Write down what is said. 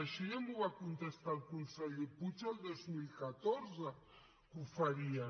això ja m’ho va contestar el conseller puig el dos mil catorze que ho farien